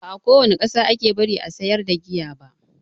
Ba a kowane ƙasa ake bari a sayar da giya ba.